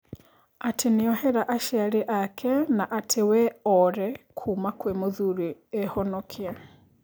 Atĩ niohera aciari ake na ati we ore kuuma kwĩ mũthuri ehonokie.